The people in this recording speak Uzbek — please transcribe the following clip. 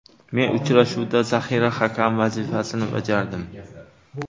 Men uchrashuvda zaxira hakami vazifasini bajardim.